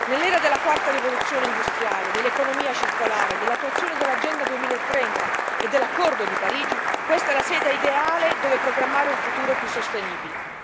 Nell'era della quarta rivoluzione industriale dell'economia circolare, dell'attuazione dell'Agenda 2030 e dell'Accordo di Parigi, questa è la sede ideale dove programmare un futuro più sostenibile.